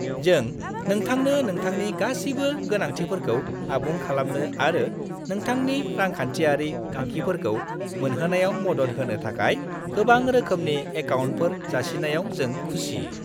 जों नोंथांनो नोंथांनि गासिबो गोनांथिफोरखौ आबुं खालामनो आरो नोंथांनि रांखान्थियारि थांखिफोरखौ मोनहोनायाव मदद होनो थाखाय गोबां रोखोमनि एकाउन्टफोर जासिनायाव जों खुसि।